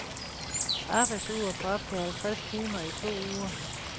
Arbejdsuger på op til halvtreds timer i to uger.